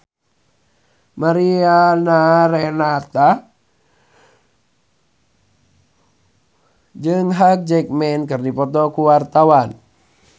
Mariana Renata jeung Hugh Jackman keur dipoto ku wartawan